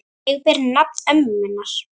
Ég ber nafn ömmu minnar.